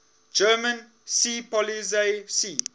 german seepolizei sea